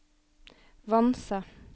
Vanse